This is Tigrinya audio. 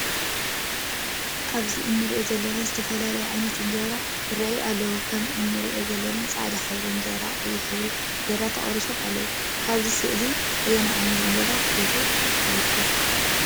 ኣብዚ እንርእዮ ዘለና ዝተፈላለዩ ዓይነታት እንጀራ ይረአ ኣሎ። ከም እነርእዮ ዘለና ፃዕዳ ሕብሪ እንጀራን ቀይሕ ሕብሪ አንጀራን ተቆሪሱ ኣሎ። ካብዚ ሰእሊ ኣየናይ ዓይነት እንጀራ ትፈትው ነይርኩ?